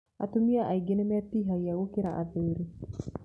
Atumia aingĩ nĩ metihagia gũkĩra athuri.